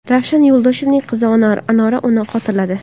Ravshan Yo‘ldoshevning qizi Anora uni xotirladi.